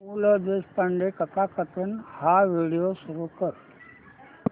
पु ल देशपांडे कथाकथन हा व्हिडिओ सुरू कर